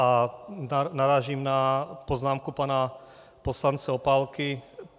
A narážím na poznámku pana poslance Opálky.